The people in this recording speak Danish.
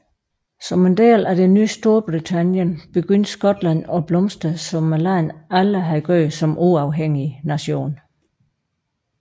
Som en del af det nye Storbritannien begyndte Skotland at blomstre som landet aldrig havde gjort som uafhængig nation